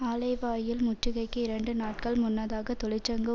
ஆலைவாயில் முற்றுகைக்கு இரண்டு நாட்கள் முன்னதாக தொழிற்சங்க